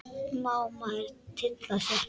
Má maður tylla sér?